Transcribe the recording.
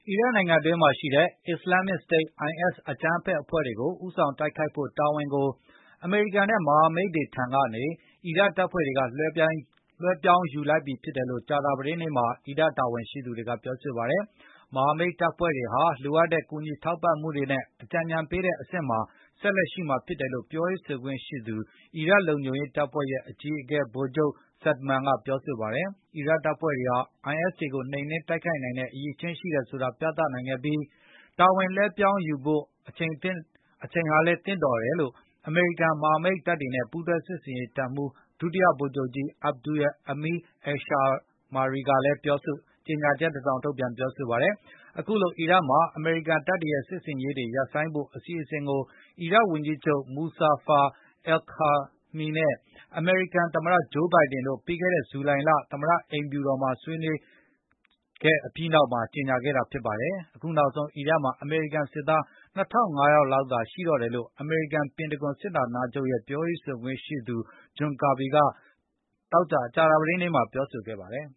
အီရတ်နိုင်ငံအတွင်းမှာရှိတဲ့ Islamist State IS အကြမ်းဖက်အဖွဲ့တွေကို ဦးဆောင်တိုက်ခိုက်ဖို့တာဝန်ကို အမေရိကန်နဲ့ မဟာမိတ်တွေထံကနေ အီရတ်တပ်ဖွဲ့တွေက လွဲှပြောင်းယူ လိုက်ပြီဖြစ်တယ်လို့ ကြာသာပတေးနေ့မှာ အီရတ်တာဝန်ရှိသူတွေကပြောဆိုလိုက်ပါတယ်။ မဟာမိတ်တပ်ဖွဲ့တွေဟာ လိုအပ်တဲ့ကူညီထောက်ပံမှုတွေနဲ့ အကြံဉာဏ်ပေးတဲ့ အဆင့်မှာ ဆက်လက်ရှိမှာဖြစ်တယ်လို့ ပြောရေးဆိုခွင့်ရှိသူ အီရတ်လုံခြုံရေးတပ်ဖွဲ့ရဲ့ အကြီးအကဲ ဗိုလ်ချုပ် Saad Maan ကပြောဆိုပါတယ်။ အီရတ်တပ်ဖွဲ့တွေဟာ IS တွေကို နှိမ်နင်းနိုင်တဲ့အရည်အချင်းရှိတယ်ဆိုတာကိုပြသနိုင်ခဲ့ပြီး၊ တာဝန်လွှဲပြောင်းယူဖို့သင့်တော်တဲ့အချိန်လည်းဖြစ်တယ်လို့ အမေရိကန်မဟာမိတ်တပ်တွေနဲ့ ပူးတွဲစစ်ဆင်ရေးတပ်မှူး ဒုတိယဗိုလ်ချုပ်ကြီး Abdul Amir al Shammari ကလည်း ကြေညာချက်တစောင်ထုတ်ပြန်ပြောဆိုပါတယ်။ အခုလို အီရတ်နိုင်ငံမှာ အမေရိကန်တပ်တွေရဲ့ စစ်ဆင်ရေးတွေရပ်ဆိုင်းဖို့ အစီအစဉ်ကို အီရတ် ဝန်ကြီးချုပ် Mustafa al Kadhimi နဲ့ အမေရိကန်သမတ ဂျိုးဘိုင်ဒင် Joe Biden တို့ ပြီးခဲ့တဲ့ ဇူလိုင်လ သမတအိမ်ဖြူတော်မှာတွေ့ဆုံဆွေးနွေးပွဲပြီးနောက်ကြေညာခဲ့တာပါ။ အခုနောက်ဆုံး အီရတ်မှာ အမေရိကန်စစ်သား ၂၅၀၀ လောက်သာရှိတော့တယ်လို့ အမေရိကန် ပင်တဂွန်စစ်ဌာနချုပ်ရဲ့ ပြောရေးဆိုခွင့်ရှိသူ John Kirby က သောကြာနေ့မှာ ပြောဆိုခဲ့ပါတယ်